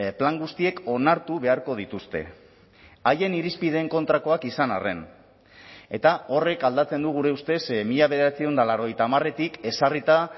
plan guztiek onartu beharko dituzte haien irizpideen kontrakoak izan arren eta horrek aldatzen du gure ustez mila bederatziehun eta laurogeita hamaretik ezarrita